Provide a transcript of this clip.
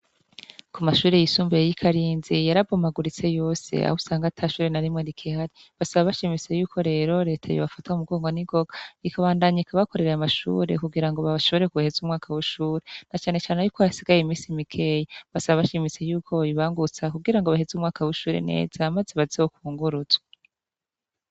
Ku mashuri y'isumbuye yi Karinzi yarabomaguritse yose ahusanga atashuri na rimwe rikihari .Basaba bashimitse y'uko rero leta ye bafata mugongo n'igonga ikabandanyika bakoreraye amashure kugira ngo baashobore kuheze umwaka w'ushuri na cyane cyane na yuko yasigaye iminsi mikeyi basaba bashimise y'uko bobibangutsa kugira ngo baheze umwaka w'ishuri neza amaze bazeho kunguruzwe.